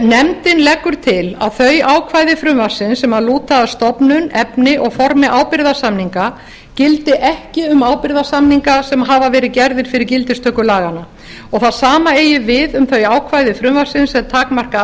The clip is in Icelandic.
nefndin leggur til að þau ákvæði frumvarpsins sem lúta að stofnun efni og formi ábyrgðarsamninga gildi ekki um ábyrgðarsamninga sem hafa verið gerðir fyrir gildistöku laganna og það sama eigi við um þau ákvæði frumvarpsins sem takmarka